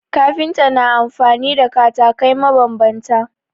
Kafinta na amfani da katakai mabambanta